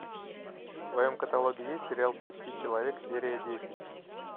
в твоем каталоге есть сериал почти человек серия десять